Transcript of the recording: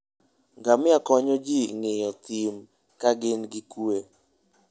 Ngamia konyo ji ng'iyo thim ka gin gi kuwe.